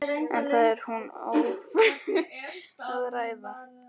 En það er hún ófús að ræða.